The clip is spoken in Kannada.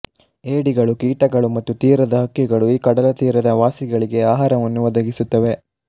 ಏಡಿಗಳು ಕೀಟಗಳು ಮತ್ತು ತೀರದ ಹಕ್ಕಿಗಳು ಈ ಕಡಲತೀರದ ವಾಸಿಗಳಿಗೆ ಆಹಾರವನ್ನು ಒದಗಿಸುತ್ತವೆ